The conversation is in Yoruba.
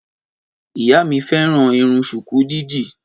Ìyá mi fẹ́ràn Irun ṣùkú dídì.